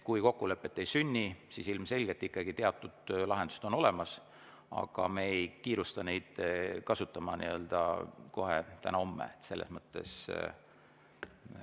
Kui kokkulepet ei sünni, siis ilmselgelt teatud lahendused on olemas, aga me ei kiirusta neid kasutama kohe, täna või homme.